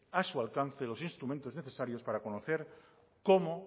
a su alcance los instrumentos necesarios para conocer cómo